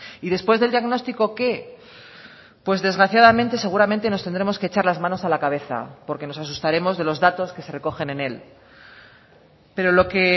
y después del diagnóstico qué pues desgraciadamente seguramente nos tendremos que echar las manos a la cabeza porque nos asustaremos de los datos que se recogen en él pero lo que